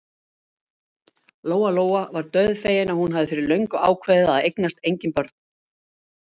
Lóa-Lóa var dauðfegin að hún hafði fyrir löngu ákveðið að eignast engin börn.